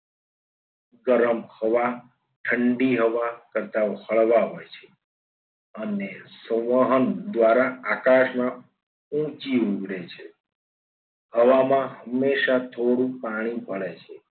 ગરમ હવા ઠંડી હવા કરતા હળવા હોય છે અને સર્વોહંમ દ્વારા આકાશમાં ઊંચી ઉડે છે. હવામાં હંમેશા થોડું પાણી ભલે છે.